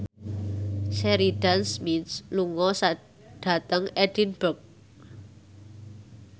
Sheridan Smith lunga dhateng Edinburgh